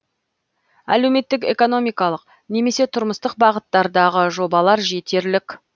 әлеуметтік экономикалық немесе тұрмыстық бағыттардағы жобалар жетерлік